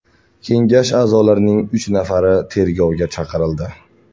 Kengash a’zolarining uch nafari tergovga chaqirildi.